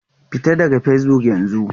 Fita daga Facebook yanzu!